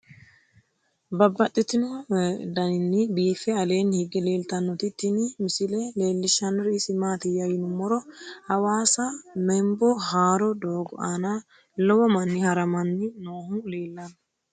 Babaxxittinno daninni biiffe aleenni hige leelittannotti tinni misile lelishshanori isi maattiya yinummoro hawassa membo haarro doogo aanna lowo manni haramanni noohu leelanno